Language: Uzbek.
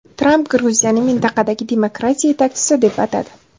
Tramp Gruziyani mintaqadagi demokratiya yetakchisi deb atadi.